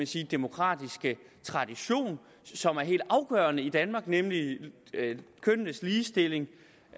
sige demokratiske tradition som er helt afgørende i danmark nemlig med kønnenes ligestilling